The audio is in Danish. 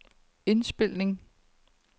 indspilning